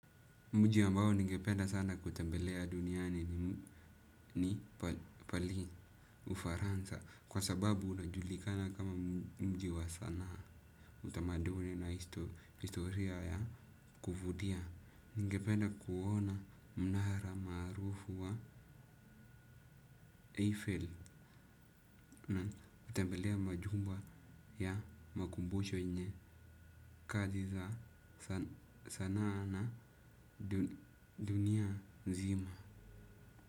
Muji ambao ningependa sana kutembelea duniani ni pale ufaransa kwa sababu unajulikana kama mjiwa sanaa. Utamaduni na historia ya kufudia. Ningependa kuona mnahara marufu wa Eiffel na utembelea majumba ya makumbosho yenye kazi za sanaa na dunia nzima.